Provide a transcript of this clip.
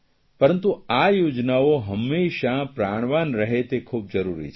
પરંતુ આ યોજનાઓ હંમેશા પ્રાણવાન રહે તે ખૂબ જરૂરી છે